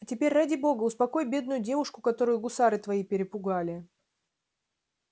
а теперь ради бога успокой бедную девушку которую гусары твои перепугали